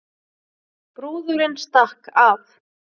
Brúðurin stakk af